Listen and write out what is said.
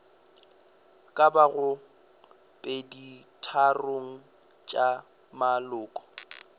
ka bago peditharong tša maloko